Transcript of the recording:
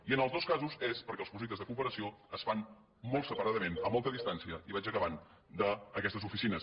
i en els dos casos és perquè els projectes de cooperació es fan molt separadament a molta distància i vaig acabant d’aquestes oficines